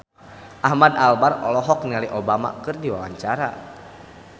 Ahmad Albar olohok ningali Obama keur diwawancara